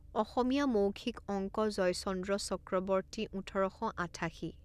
অসমীয়া মৌখিক অঙ্কজয়চন্দ্ৰ চক্ৰবৰ্তী ওঠৰ শ আঠাশী